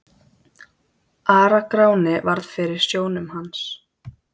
Ara-Gráni varð fyrir sjónum hans.